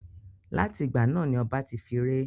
Láti ìgbà náà ni ọba ti fi ré.